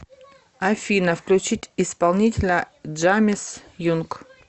афина включить исполнителя джамис юнг